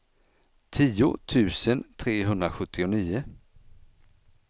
tio tusen trehundrasjuttionio